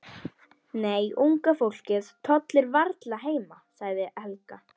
Nei, unga fólkið tollir varla heima sagði Helga.